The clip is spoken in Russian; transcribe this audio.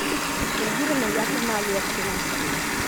эльвира наятовна олешкина